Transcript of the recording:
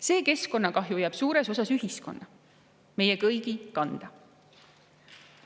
See keskkonnakahju jääb suures osas ühiskonna, meie kõigi kanda.